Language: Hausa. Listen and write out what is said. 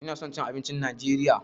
Ina son cin abincin najeriya.